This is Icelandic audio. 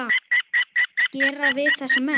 gera við þessa menn?